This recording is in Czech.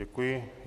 Děkuji.